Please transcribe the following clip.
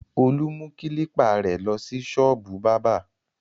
Olú mú kílípà rẹ̀ lọ sí ṣọ́ọ́bù bábà!